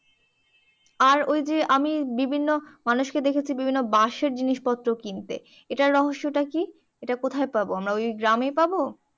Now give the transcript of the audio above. আর ওই যে আমি বিভিন্ন মানুষকে দেখেছি বিভিন্ন বাঁশের জিনিস পত্র কিনতে এটার রহস্য টা কি এটা কোথায় পাবো আমরা ওই গ্রামেই পাবো